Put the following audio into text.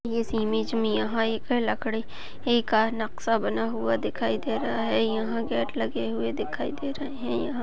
इस इमेज मे यहाँ एक लकड़े का नक्शा बना हुआ दिखाई दे रहा है यहाँ गेट लगे हुए दिखाई दे रहे है यहाँ--